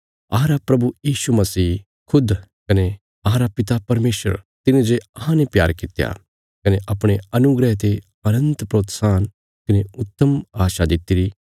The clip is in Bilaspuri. खुद अहांरे प्रभु यीशु मसीह कने अहांरे पिता परमेशर तिने जे अहांने प्यार कित्या कने अपणे अनुग्रह ते अनन्त प्रोत्साहन कने उत्तम आशा दित्तिरी